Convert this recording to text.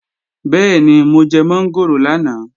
Bẹ́ẹ̀ni, mo jẹ mọ́ngòrò lánàá